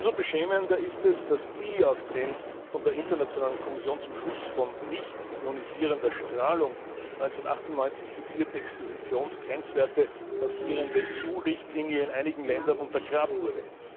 Umso beschämender ist es, dass die auf den von der internationalen Kommission zum Schutz vor nicht ionisierender Strahlung 1998 fixierten Expositionsgrenzwerten basierende EU Richtlinie in einigen Ländern untergraben wurde.